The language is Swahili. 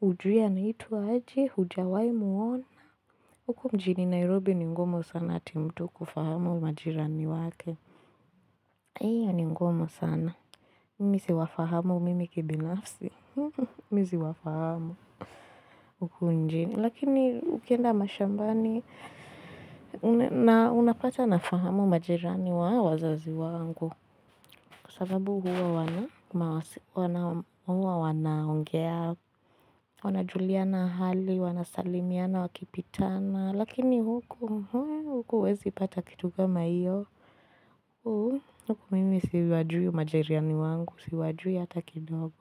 hujui anaitwa aje, hujawahi muona. Huku mjini Nairobi ni ngumu sana ati mtu kufahamu majirani wake. Hiyo ni ngumu sana. Mii siwafahamu mimi kibinafsi. Mii siwafahamu. Huku mjini. Lakini ukienda mashambani. Unapata nafahamu majirani wa wazazi wangu. Sababu huwa wanaongea, wanajuliana hali, wanasalimiana wakipitana. Lakini huku, huku huwezi pata kitu kama iyo. Huku mimi siwajui majiriani wangu, siwajui hata kidogo.